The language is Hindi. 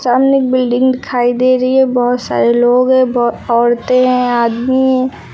सामने बिल्डिंग दिखाई दे रही है बहुत सारे लोग हैं बहुत औरतें हैं आदमी हैं।